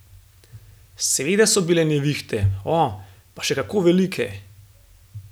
Seveda so bile nevihte, o, pa še kako velike.